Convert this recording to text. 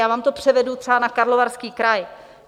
Já vám to převedu třeba na Karlovarský kraj.